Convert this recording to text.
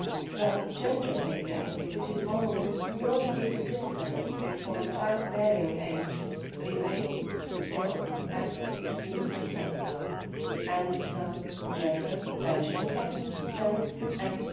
The gender pay gap, which is almost non existent before child bearing age, remains, still, at 16 and the gender pension gap stands at